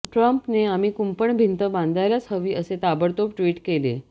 ट्रम्पने आम्ही कुंपण भिंत बांधायलाच हवी असे ताबडतोब ट्विट केले